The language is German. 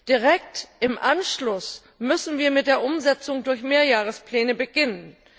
Direkt im Anschluss müssen wir mit der Umsetzung durch Mehrjahrespläne beginnen.